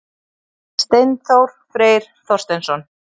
Steinþór Freyr Þorsteinsson